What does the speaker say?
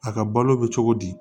A ka balo bɛ cogo di